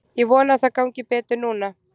Ég vona að það gangi betur núna.